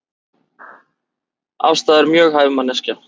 Ásta er mjög hæf manneskja